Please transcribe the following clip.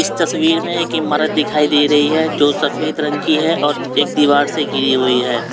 तस्वीर में एक इमारत दिखाई दे रही है जो सफेद रंग की है और एक दीवार से घिरी हुई है।